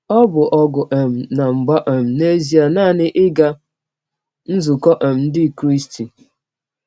Ọ bụ ọgụ um na mgba um n’ezie nanị ịga nzụkọ um ndị Kristị.